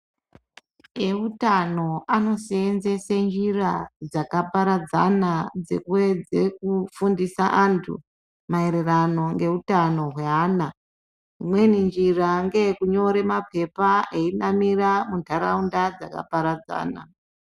Eutano anosedzese njira dzakaparadzana dzekuedza kufundisa antu mairirano ngeutano rwana imweni njira ngeyekunyora mapepa einamira mundaraunda dzakaparadzana.